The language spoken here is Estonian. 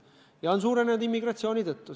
Ja on suurenenud immigratsiooni tõttu.